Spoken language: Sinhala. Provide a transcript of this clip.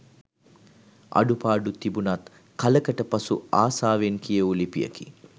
අඩුපාඩු තිබුනත් කලකට පසු ආසාවෙන් කියෙවු ලිපියකි